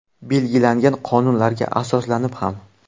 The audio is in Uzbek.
Belgilangan qonunlarga asoslanib ham.